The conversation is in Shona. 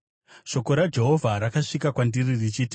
Shoko raJehovha rakasvika kwandiri richiti,